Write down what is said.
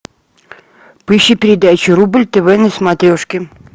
поищи передачу рубль тв на смотрешке